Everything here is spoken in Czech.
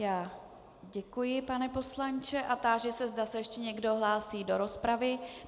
Já děkuji, pane poslanče, a táži se, zda se ještě někdo hlásí do rozpravy.